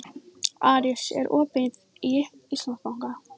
Aris, er opið í Íslandsbanka?